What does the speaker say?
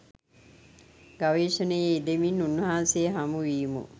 ගවේෂණයේ යෙදෙමින් උන්වහන්සේ හමුවීමු.